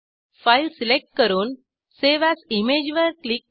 file select करून save as image वर click करा